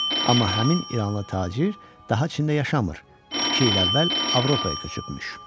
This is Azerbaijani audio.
Amma həmin İranlı tacir daha Çində yaşamır, iki il əvvəl Avropaya köçübmüş.